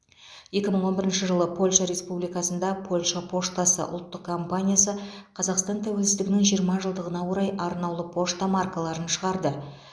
екі мың он бірінші жылы польша республикасында польша поштасы ұлттық компаниясы қазақстан тәуелсіздігінің жиырма жылдығына орай арнаулы пошта маркаларын шығарды